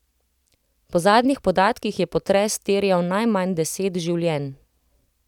Po zadnjih podatkih je potres terjal najmanj deset življenj.